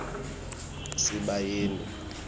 sibayeni